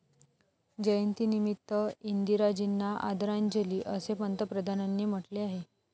जयंतीनिमित्त इंदिराजींना आदरांजली असे पंतप्रधानांनी म्हटले आहे.